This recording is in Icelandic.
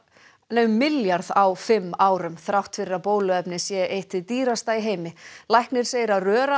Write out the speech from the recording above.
um milljarð á fimm árum þrátt fyrir að bóluefnið sé eitt hið dýrasta í heimi læknir segir að